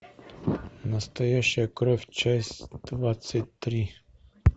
настоящая кровь часть двадцать три